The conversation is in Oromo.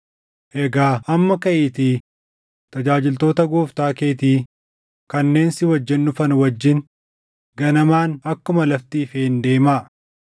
Egaa amma kaʼiitii tajaajiltoota gooftaa keetii kanneen si wajjin dhufan wajjin ganamaan akkuma lafti ifeen deemaa.”